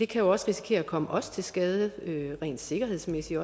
kan risikere at komme os til skade rent sikkerhedsmæssigt